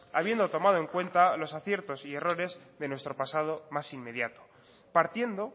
habiendo tomado en cuenta los aciertos y errores de nuestro pasado más inmediato partiendo